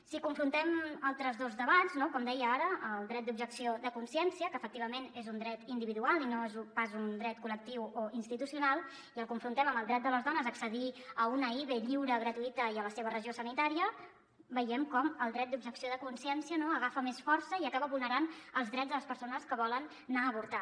si confrontem altres dos debats com deia ara el dret d’objecció de consciència que efectivament és un dret individual i no és pas un dret col·lectiu o institucional i el confrontem amb el dret de les dones a accedir a una ive lliure gratuïta i a la seva regió sanitària veiem com el dret d’objecció de consciència agafa més força i acaba vulnerant els drets de les persones que volen anar a avortar